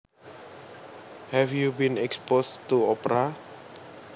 Have you been exposed to opera